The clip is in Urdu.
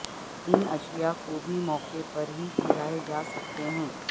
ان اشیاء کو بھی موقع پر ہی کرائے جا سکتے ہیں